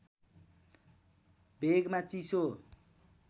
भेगमा चिसो